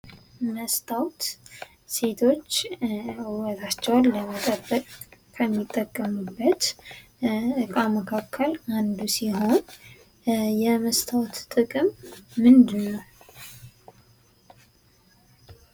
መስታወት ሴቶች ውበታቸውን ለመጠበቅ ከሚጠቀሙበት እቃ መካከል አንዱ ሲሆን የመስታወት ጥቅም ምንድን ነው ?